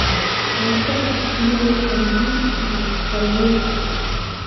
La socodka shinnidu waxay muhiim u tahay daryeelka.